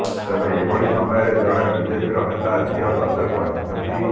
ତେବେ ଏଭଳି ସମୟରେ ଜଣେ ବିଜେପିର ନେତାଙ୍କ ଝିଅ ଚର୍ଚ୍ଚାକୁ ଆସିଛନ୍ତି